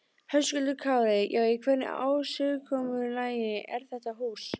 Höskuldur Kári: Já, í hvernig ásigkomulagi er þetta hús?